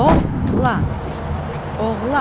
Oğlan, oğlan.